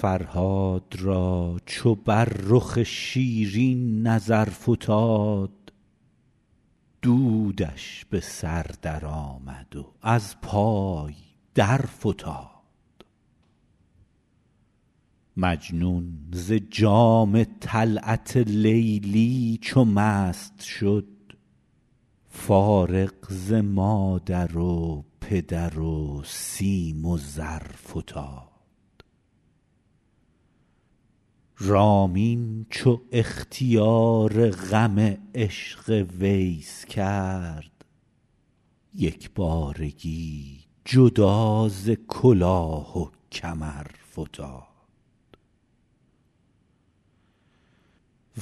فرهاد را چو بر رخ شیرین نظر فتاد دودش به سر درآمد و از پای درفتاد مجنون ز جام طلعت لیلی چو مست شد فارغ ز مادر و پدر و سیم و زر فتاد رامین چو اختیار غم عشق ویس کرد یک بارگی جدا ز کلاه و کمر فتاد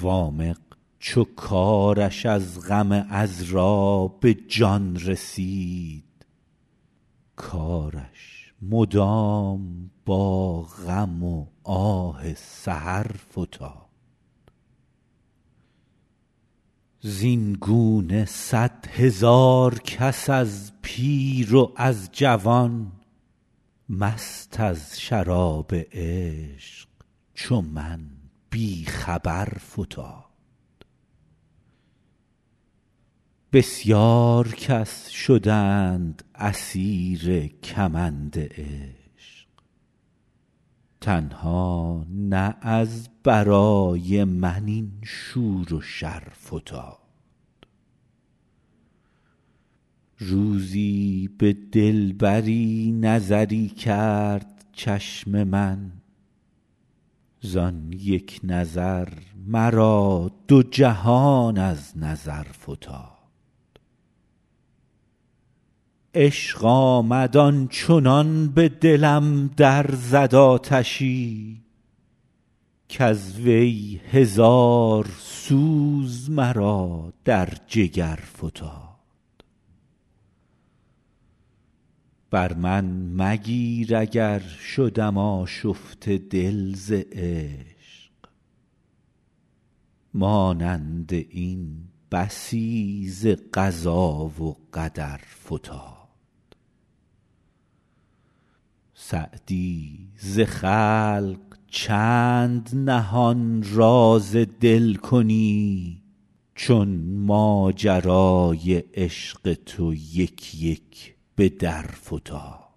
وامق چو کارش از غم عـذرا به جان رسید کارش مدام با غم و آه سحر فتاد زین گونه صدهزار کس از پیر و از جوان مست از شراب عشق چو من بی خبر فتاد بسیار کس شدند اسیر کمند عشق تنها نه از برای من این شور و شر فتاد روزی به دلبری نظری کرد چشم من زان یک نظر مرا دو جهان از نظر فتاد عشق آمد آن چنان به دلم در زد آتشی کز وی هزار سوز مرا در جگر فتاد بر من مگیر اگر شدم آشفته دل ز عشق مانند این بسی ز قضا و قدر فتاد سعدی ز خلق چند نهان راز دل کنی چون ماجرای عشق تو یک یک به در فتاد